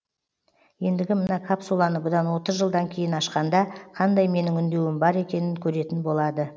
ендігі мына капсуланы бұдан отыз жылдан кейін ашқанда қандай менің үндеуім бар екенін көретін болады